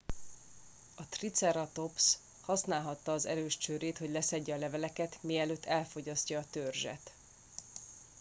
a triceratops használhatta az erős csőrét hogy leszedje a leveleket mielőtt elfogyasztja a törzset